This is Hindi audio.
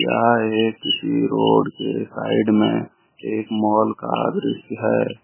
यह एक किसी रोड के साइड में एक मॉल का दृश्य है।